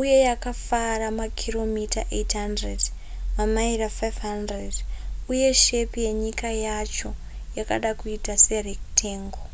uye yakafara makiromita 800 mamaira 500 uye shepi yenyika yacho yakada kuita serectangle